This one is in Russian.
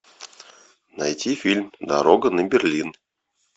найти фильм дорога на берлин